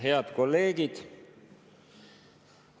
Head kolleegid!